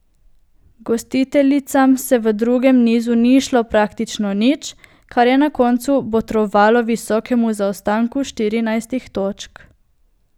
Gostiteljicam se v drugem nizu ni izšlo praktično nič, kar je na koncu botrovalo visokemu zaostanku štirinajstih točk.